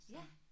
Ja